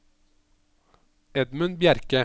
Edmund Bjerke